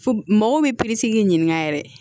Fo mɔgɔw bɛ k'i ɲininka yɛrɛ